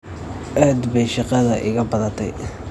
Aad baay shaqada iga badatay.